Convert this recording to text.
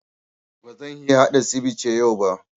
Ba zan iya haɗa sivice yau ba